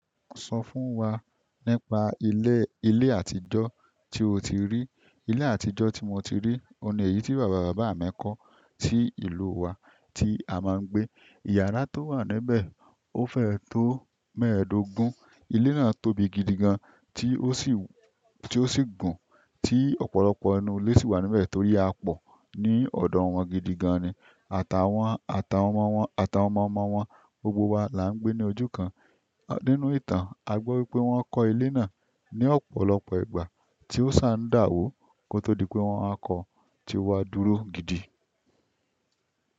Sọ fún wa nípa ilé, ilé àtijọ́ tí o ti rí. Ilé àtijọ́ tí mo ti rí, òun yìí tí bàbá bàbá mi kọ́ sí ìlú wa tí a máa ń gbé. Ìyàrá tó wà níbẹ̀, ó fẹ́ tó mẹ́ẹ̀ẹ́dógún. Ilé náà tóbi gidi gan tí ó sì, tí ó sì gùn, tí ọ̀pọ̀lọpọ̀ ẹnu ilé sì wà níbẹ̀ torí a pọ̀ ní ọ̀dọ̀ wọn gidi gan-an ni. Àtàwọn, àtàwọn ọmọ wọn, àtàwọn ọmọ ọmọ wọn, gbogbo wa là ń gbé ní òju kan. Nínú ìtàn, a gbọ́ wípé wọ́n kọ́ ilé náà ní ọ̀pọ̀lọpọ̀ ìgbà tí ó ṣà ń dàwó kó tó di pé wọ́n a kọ, tí owa dúró gidi.